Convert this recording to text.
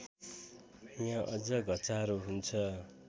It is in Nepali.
यहाँ अझ घचारो हुन्छ